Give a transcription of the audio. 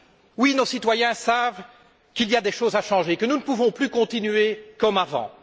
Oui, nos citoyens savent qu'il y a des choses à changer, que nous ne pouvons plus continuer comme avant.